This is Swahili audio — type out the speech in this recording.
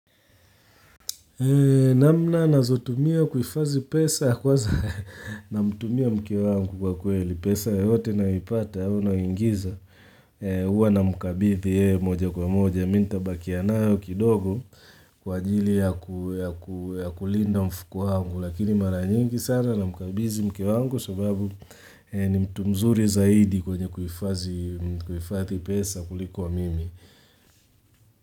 Namna ninazotumia kuifadhi pesa kwanza namtumia mke wangu, kwa kweli pesa yoyote ninayoipata au ninayoingiza huwa namkabidhi yeye moja kwa moja mimi nitabakia nayo kidogo kwa ajili ya kulinda mfuko wangu, lakini mara nyingi sana namkabidhi mke wangu sababu ni mtu mzuri zaidi kwenye kuhifadhi pesa kuliko mimi.